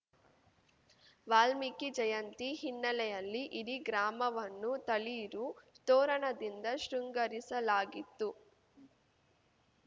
ವಾಲ್ಮೀಕಿ ಜಯಂತಿ ಹಿನ್ನೆಲೆಯಲ್ಲಿ ಇಡೀ ಗ್ರಾಮವನ್ನು ತಳಿರು ತೋರಣದಿಂದ ಶೃಂಗರಿಸಲಾಗಿತ್ತು